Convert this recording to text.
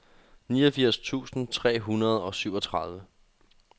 niogfirs tusind tre hundrede og syvogtredive